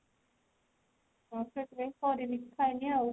କରିନି ଖାଇନି ଆଉ